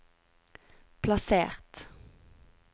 plassert